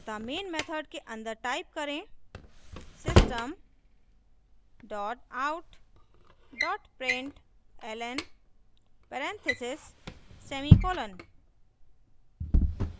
अतः main method के अंदर type करें system dot out dot println parentheses semicolon